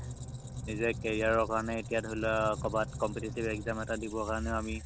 নিজে career ৰ কাৰণে এতিয়া ধৰি লোৱা কবাত competitive exam এটা দিব কাৰণেও আমি